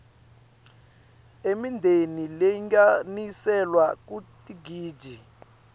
emindeni lalinganiselwa kutigidzi